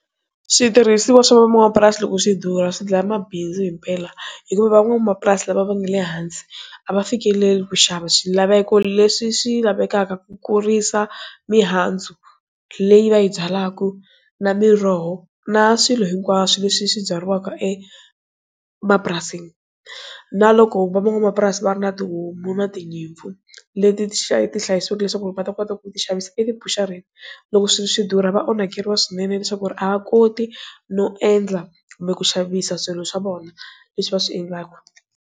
Switirhisiwa swa van'wamapurasi loko swi durha swi dlaya mabindzu himpela hikuva van'wamapurasi la va nga le hansi a va fikeleli ku xava swilaveko leswi swi lavekaka ku kurisa mihandzu leyi va yi byalaka na miroho na swilo hinkwaswo leswi swi byariwaka emapurasini na loko van'wamapurasi va ri na tihomu na tinyimpfu leti ti xa ti hlayisile leswaku va ta kota ku ti xavisa etibushareni loko swi swidura va onhakeriwa swinene leswaku ri a va koti no endla kumbe ku xavisa swilo swa vona leswi va swi endlaka.